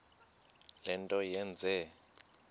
le nto yenze